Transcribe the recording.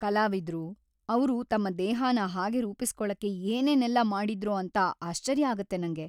ಕಲಾವಿದ್ರು, ಅವ್ರು ತಮ್ಮ ದೇಹನ ಹಾಗೆ ರೂಪಿಸ್ಕೊಳಕ್ಕೆ ಏನೇನೆಲ್ಲ ಮಾಡಿದ್ರೋ ಅಂತ ಆಶ್ಚರ್ಯ ಆಗತ್ತೆ ನಂಗೆ.